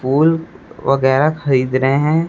फूल वगैरा खरीद रहे हैं।